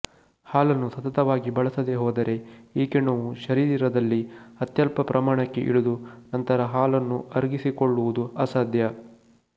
ಹಾಲನ್ನು ಸತತವಾಗಿ ಬಳಸದೆ ಹೋದರೆ ಈ ಕಿಣ್ವವು ಶರೀರದಲ್ಲಿ ಅತ್ಯಲ್ಪ ಪ್ರಮಾಣಕ್ಕೆ ಇಳಿದು ನಂತರ ಹಾಲನ್ನು ಅರಗಿಸಿಕೊಳ್ಳುವುದು ಅಸಾಧ್ಯ